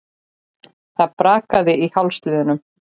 Það brakaði í hálsliðunum.